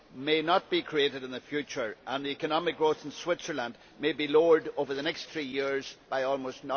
may not be created in the future and that economic growth in Switzerland may be lowered over the next three years by almost